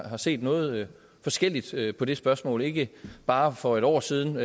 har set noget forskelligt på det spørgsmål ikke bare for et år siden